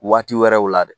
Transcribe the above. Waati wɛrɛw la dɛ